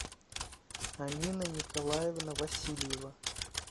амина николаевна васильева